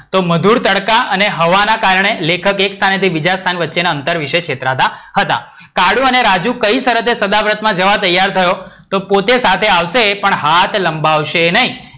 તો મધુર તડકા અને હવાના કારણે લેખક એક સ્થાન થી બીજા સ્થાન વચ્ચેના અંતર વિષે છેતરાતા હતા. કાળું અને રાજૂ કઈ શરતે સદાવ્રતમાં જવા તૈયાર થયો? તો પોતે સાથે આવશે પણ હાથ લંબાવશે નઇ.